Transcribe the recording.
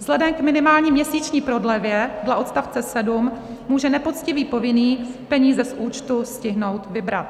Vzhledem k minimální měsíční prodlevě dle odstavce 7 může nepoctivý povinný peníze z účtu stihnout vybrat.